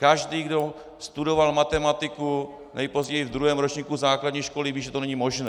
Každý, kdo studoval matematiku nejpozději v druhém ročníku základní školy ví, že to není možné.